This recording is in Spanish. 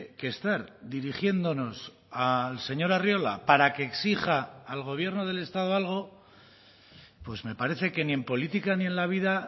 que estar dirigiéndonos al señor arriola para que exija al gobierno del estado algo pues me parece que ni en política ni en la vida